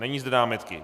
Není zde námitky.